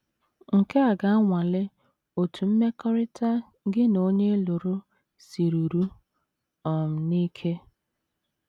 Nke a ga - anwale otú mmekọrịta gị na onye ị lụrụ siruru um n’ike.